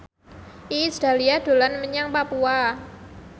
Iis Dahlia dolan menyang Papua